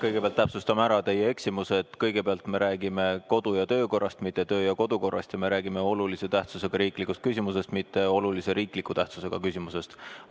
Kõigepealt täpsustame ära teie eksimuse: me räägime kodu- ja töökorrast, mitte töö- ja kodukorrast, ja me räägime olulise tähtsusega riiklikust küsimusest, mitte olulise riikliku tähtsusega küsimusest.